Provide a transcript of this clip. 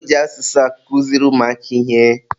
Eji asụsụ akụziri ụmụaka ihe.